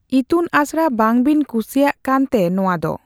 ᱤᱛᱩᱱ ᱟᱥᱬᱟ ᱵᱟᱝᱵᱤᱱ ᱠᱩᱥᱤᱭᱟᱜ ᱠᱟᱱ ᱛᱮ ᱱᱚᱣᱟ ᱫᱚ ᱾